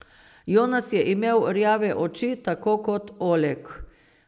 Jonas je imel rjave oči, tako kot Oleg.